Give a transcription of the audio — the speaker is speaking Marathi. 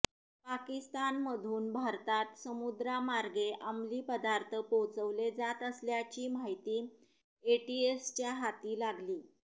पाकिस्तानमधून भारतात समुद्रामार्गे अमली पदार्थ पोहचवले जात असल्याची माहिती एटीएसच्या हाती लागली